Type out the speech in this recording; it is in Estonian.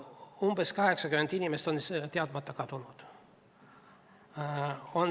Umbes 80 inimest on teadmata kadunud.